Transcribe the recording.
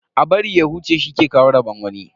A bari ya huce shi ke kawo rabon wani.